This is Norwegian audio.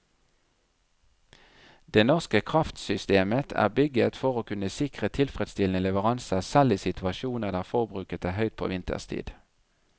Det norske kraftsystemet er bygget for å kunne sikre tilfredsstillende leveranser selv i situasjoner der forbruket er høyt på vinterstid.